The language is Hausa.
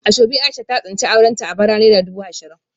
Asoebi Aisha ta tsinci aurenta a bara naira dubu ashirin